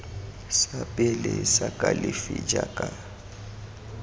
sa pele sa kalafi jaaka